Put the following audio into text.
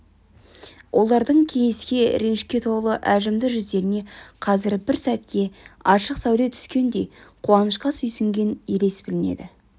олардың кейіске ренішке толы әжімді жүздеріне қазір бір сәтке ашық сәуле түскендей қуанышқа сүйсінген елес білінеді